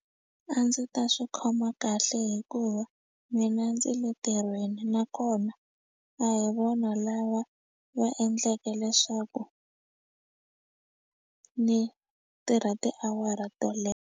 A ndzi ta swi khoma kahle hikuva mina ndzi le ntirhweni nakona a hi vona lava va endlake leswaku ni tirha tiawara to .